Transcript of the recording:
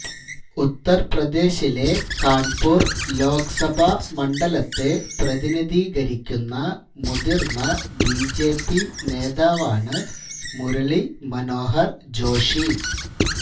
ഉത്തര് പ്രദേശിലെ കാണ്പൂര് ലോക്സഭാ മണ്ഡലത്തെ പ്രതിനിധീകരിക്കുന്ന മുതിര്ന്ന ബിജെപി നേതാവാണ് മുരളീ മനോഹര് ജോഷി